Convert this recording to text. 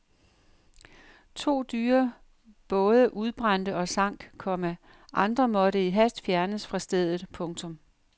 To dyre både udbrændte og sank, komma andre måtte i hast fjernes fra stedet. punktum